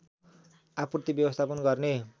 आपूर्ति व्यवस्थापन गर्ने